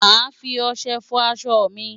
Màá fi ọṣẹ fọ aṣọ mi.